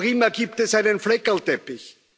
Noch immer gibt es einen Fleckerlteppich.